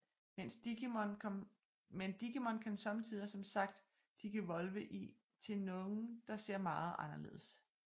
Men Digimon kan sommetider som sagt Digivolve i til nogle der ser meget anderledes